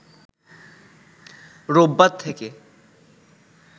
রোববার থেকে